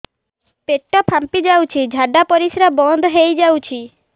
ପେଟ ଫାମ୍ପି ଯାଉଛି ଝାଡା ପରିଶ୍ରା ବନ୍ଦ ହେଇ ଯାଉଛି